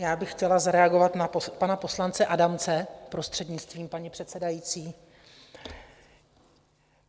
Já bych chtěla zareagovat na pana poslance Adamce, prostřednictvím paní předsedající.